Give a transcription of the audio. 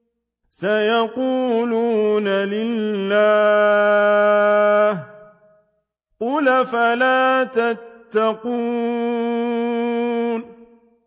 سَيَقُولُونَ لِلَّهِ ۚ قُلْ أَفَلَا تَتَّقُونَ